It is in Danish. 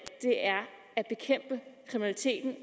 at bekæmpe kriminaliteten